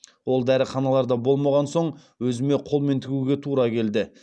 ол дәріханаларда болмаған соң өзіме қолмен тігуге тура келді